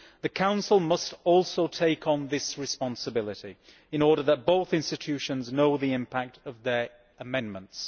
The Council must also take on this responsibility, in order that both institutions know the impact of their amendments.